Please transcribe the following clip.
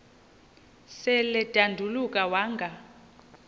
sel edanduluka wanga